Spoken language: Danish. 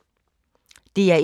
DR1